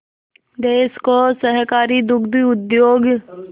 देश को सहकारी दुग्ध उद्योग